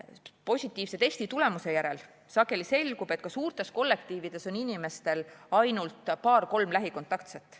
Positiivse testitulemuse järel sageli selgub, et ka suurtes kollektiivides on inimestel ainult paar-kolm lähikontaktset.